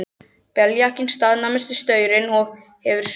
Beljakinn staðnæmist við staurinn og hefur svipuna á loft.